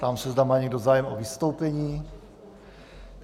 Ptám se, zda má někdo zájem o vystoupení.